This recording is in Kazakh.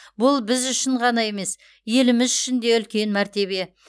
бұл біз үшін ғана емес еліміз үшін де үлкен мәртебе